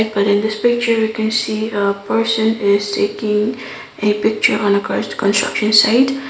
in this picture we can see a person is taking a picture on a construction site.